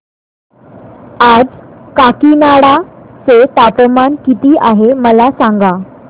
आज काकीनाडा चे तापमान किती आहे मला सांगा